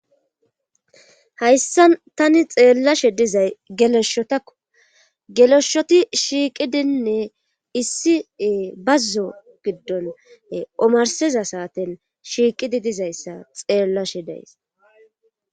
hayssa tani xeellashe dizay geleshotakko geleshshoti shiiqidinne issi bazzo giddon omarsiza saaten shiiqidi dizayssa xeellashe deys